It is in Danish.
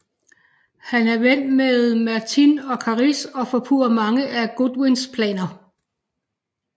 Han er ven med Merthin og Caris og forpurrer mange af Godwyns planer